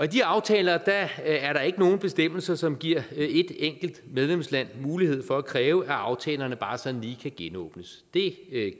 de aftaler er der ikke nogen bestemmelser som giver et enkelt medlemsland mulighed for at kræve at aftalerne bare sådan lige kan genåbnes det